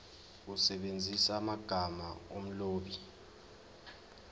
usebenzise amagama omlobi